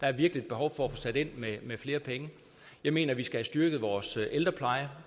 er virkelig et behov for at få sat ind med flere penge jeg mener vi skal have styrket vores ældrepleje og